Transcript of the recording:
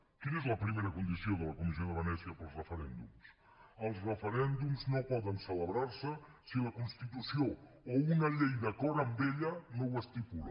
quina és la primera condició de la comissió de venècia per als referèndums els referèndums no poden celebrar se si la constitució o una llei d’acord amb ella no ho estipula